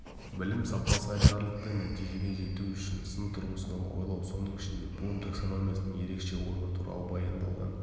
білім сапасы айтарлықтай нәтижеге жету үшін сын тұрғысынан ойлау соның ішінде блум таксономиясының ерекше орны туралы баяндалған